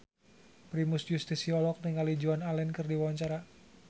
Primus Yustisio olohok ningali Joan Allen keur diwawancara